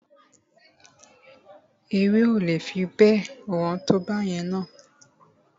Ewébẹ̀ o le fi bẹ́ẹ̀ wọ́n tó báyẹn na.